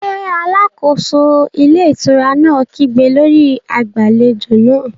Ṣé alákóso ilé ìtura náà kígbe lórí agbàlejò náà?